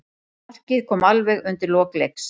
Markið kom alveg undir lok leiks.